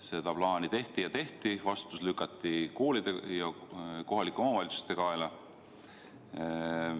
Seda plaani tehti ja tehti, vastutus lükati koolide ja kohalike omavalitsuste kaela.